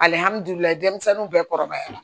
Alihamudulila denmisɛnninw bɛɛ kɔrɔbayala